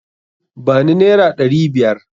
Ba ni naira ɗari biyar!